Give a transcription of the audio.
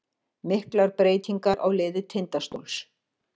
Miklar breytingar á liði Tindastóls